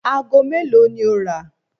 Aago mélòó ni ó rà?